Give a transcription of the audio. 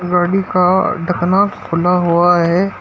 पानी का ढकना खुला हुआ है।